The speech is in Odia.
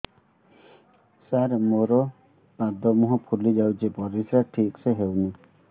ସାର ମୋରୋ ପାଦ ମୁହଁ ଫୁଲିଯାଉଛି ପରିଶ୍ରା ଠିକ ସେ ହଉନି